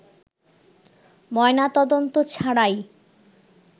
ময়নাতদন্ত ছাড়াই